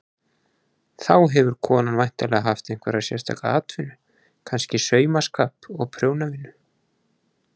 Þá hefur konan væntanlega haft einhverja sérstaka atvinnu, kannski saumaskap og prjónavinnu.